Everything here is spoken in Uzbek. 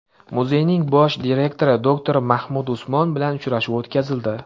Muzeyning bosh direktori doktor Mamduh Usmon bilan uchrashuv o‘tkazildi.